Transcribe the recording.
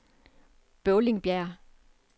Bøvlingbjerg